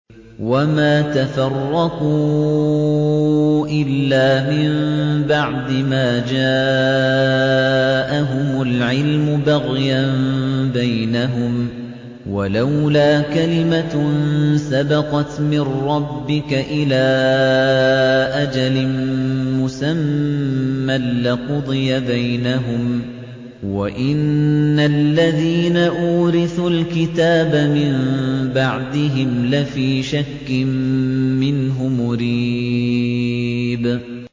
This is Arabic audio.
وَمَا تَفَرَّقُوا إِلَّا مِن بَعْدِ مَا جَاءَهُمُ الْعِلْمُ بَغْيًا بَيْنَهُمْ ۚ وَلَوْلَا كَلِمَةٌ سَبَقَتْ مِن رَّبِّكَ إِلَىٰ أَجَلٍ مُّسَمًّى لَّقُضِيَ بَيْنَهُمْ ۚ وَإِنَّ الَّذِينَ أُورِثُوا الْكِتَابَ مِن بَعْدِهِمْ لَفِي شَكٍّ مِّنْهُ مُرِيبٍ